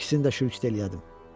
İkisini də şülük edərdim.